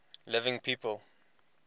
living people